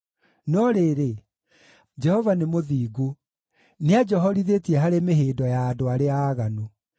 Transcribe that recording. No rĩrĩ, Jehova nĩ mũthingu; nĩanjohorithĩtie harĩ mĩhĩndo ya andũ arĩa aaganu.